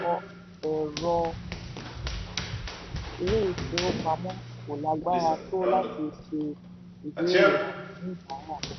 ọ̀pọ̀lọpọ̀ ẹ̀rọ ilé ìfowópamọ ko lagbara tó láti ṣe ìbéèrè àwọn oníbàárà.